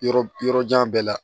Yɔrɔ yɔrɔ jan bɛɛ la